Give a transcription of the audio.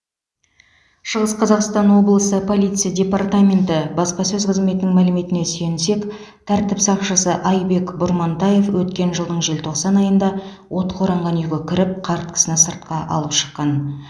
шығыс қазақстан облысы полиция департаменті баспасөз қызметінің мәліметіне сүйенсек тәртіп сақшысы айбек бұрмантаев өткен жылдың желтоқсан айында отқа оранған үйге кіріп қарт кісіні сыртқа алып шыққан